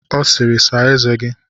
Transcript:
Ọ sịịrị, saa eze gi!